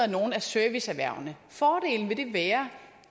nogle af serviceerhvervene fordelen ved det vil være